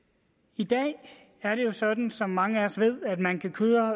i dag er det jo sådan som mange af os ved at man kan køre